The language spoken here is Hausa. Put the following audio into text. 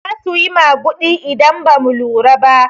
Zasu yi maguɗi idan bamu lura ba.